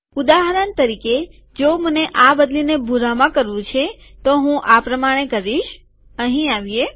ઉદાહરણ તરીકે જો મને આ બદલીને ભૂરામાં કરવું છે તો હું આ પ્રમાણે કરીશ અહીં આવીએ